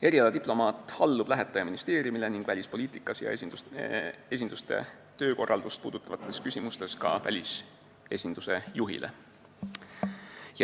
Erialadiplomaat allub lähetaja ministeeriumile ning välispoliitikas ja esinduste töökorraldust puudutavates küsimustes ka välisesinduse juhile.